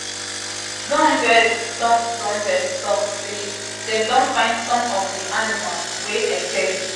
donbest tok donbest tok say um dem don find some of di animals um wey escape.